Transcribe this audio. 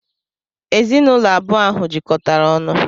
Ezinụlọ abụọ ahụ jikọtara ọnụ.